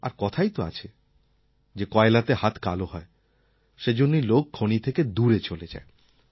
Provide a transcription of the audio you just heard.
আর কথাই তো আছে যে কয়লাতে হাত কালো হয় সেজন্যই লোক খনি থেকে দূরে চলে যায়